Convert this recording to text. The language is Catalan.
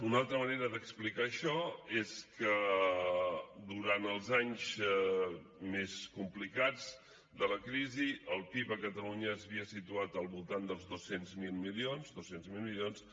una altra manera d’explicar això és que durant els anys més complicats de la crisi el pib a catalunya s’havia situat al voltant dels dos cents miler milions dos cents miler milions